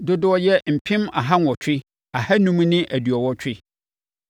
dodoɔ yɛ mpem aha nwɔtwe ahanum ne aduɔwɔtwe.